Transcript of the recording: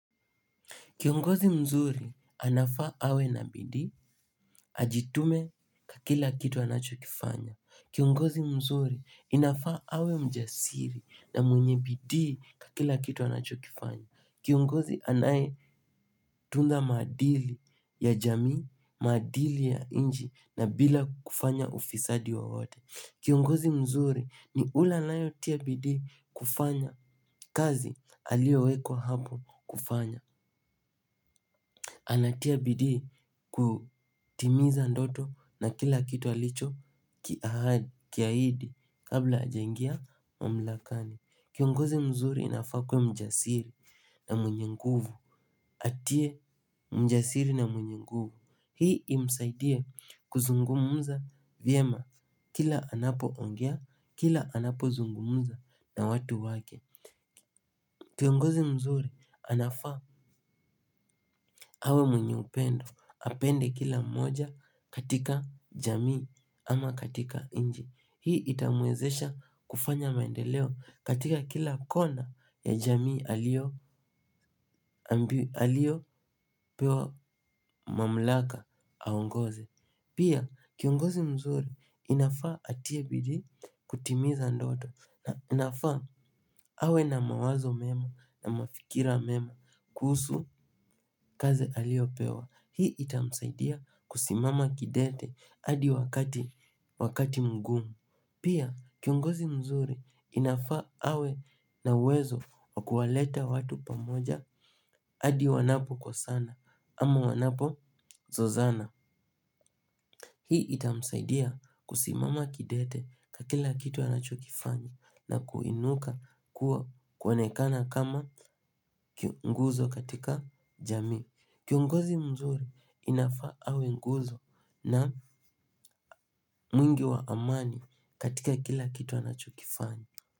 Kiongozi mzuri anafaa awe na bidii, ajitume kwa kila kitu anachokifanya. Kiongozi mzuri inafaa awe mjasiri na mwenye bidii kwa kila kitu anachokifanya. Kiongozi anayetunda maadili ya jamii, maadili ya nchi na bila kufanya ufisadi wowote. Kiongozi mzuri ni ule anayetia bidii kufanya kazi aliyowekwa hapo kufanya. Anatia bidii kutimiza ndoto na kila kitu alicho kiahidi kabla hajangia mamlakani. Kiongozi mzuri inafaa kuwa mjasiri na mwenye nguvu. Atie mjasiri na mwenye nguvu. Hii imsaidie kuzungumza vyema. Kila anapoongea, kila anapo zungumuza na watu wake. Kiongozi mzuri anafaa awe mwenye upendo apende kila mmoja katika jamii ama katika nchi. Hii itamwezesha kufanya maendeleo katika kila kona ya jamii aliyopewa mamlaka aongoze. Pia kiongozi mzuri inafaa atie bidii kutimiza ndoto na inafaa awe na mawazo mema na mafikira mema kuhusu kaze aliyopewa. Hii itamsaidia kusimama kidete hadi wakati mgumu. Pia kiongozi mzuri inafaa awe na uwezo wa kuwaleta watu pamoja hadi wanapokosana ama wanapozozana. Hii itamsaidia kusimama kidete kwa kila kitu anachokifanya na kuinuka kuwa kuonekana kama ki nguzo katika jamii. Kiongozi mzuri inafaa awe nguzo na mwingi wa amani katika kila kitu anachokifanya.